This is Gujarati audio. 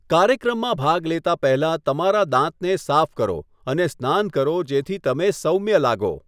કાર્યક્રમમાં ભાગ લેતા પહેલા તમારા દાંતને સાફ કરો અને સ્નાન કરો જેથી તમે સૌમ્ય લાગો.